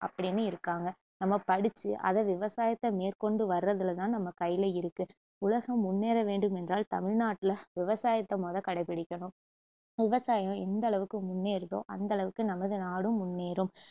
அப்புடின்னு இருக்காங்க நம்ம படிச்சு அதை விவசாயத்த மேற்கொண்டு வர்றதுல தான் நம்ம கையில இருக்கு உலகம் முன்னேற வேண்டுமென்றால் தமிழ்நாட்டுல விவசாயத்த மொத கடைபிடிக்கணும் விவசாயம் எந்த அளவுக்கு முன்னேறுதோ அந்த அளவுக்கு நமது நாடும் முன்னேறும்